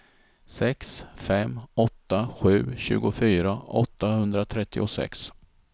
sex fem åtta sju tjugofyra åttahundratrettiosex